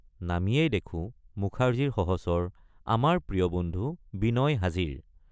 নামিয়েই দেখোঁ মুখাৰ্জীৰ সহচৰ আমাৰ প্ৰিয় বন্ধু বিনয় হাজিৰ।